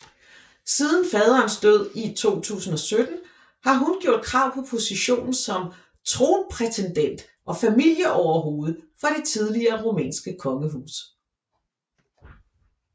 Siden faderens død i 2017 har hun gjort krav på positionen som tronprætendent og familieoverhoved for det tidligere rumænske kongehus